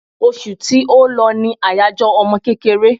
Osù tí ó lọ ní àyájọ́ ọmọ kékeré